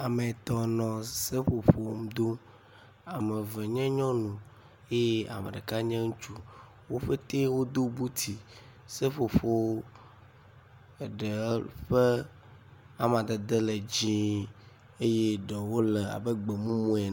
Ame etɔ̃ nɔ seƒoƒo dom. Ame eve nyɔnu ye ame ɖeka nye ŋutsu. Wo pɛtɛɛ wodo buti. Seƒoƒo aɖewo ƒe amadede le dzĩĩ eye ɖewo le abe gbemumu ene